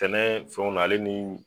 Tɛnɛ fɛnw na ale niii.